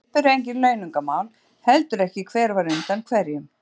Hérna uppi eru engin launungarmál, heldur ekki hver var undan hverjum.